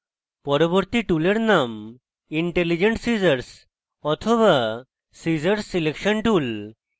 পরবর্তী টুলের name intelligent scissors the scissors selection tool